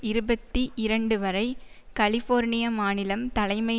இருபத்தி இரண்டு வரை கலிஃபோர்னிய மாநிலம் தலைமை